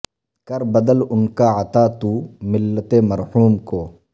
کر بدل ان کا عطا تو ملت مرحوم کو